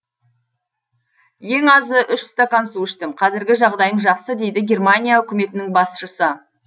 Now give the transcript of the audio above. ең азы үш стакан су іштім қазіргі жағдайым жақсы дейді германия үкіметінің басшысы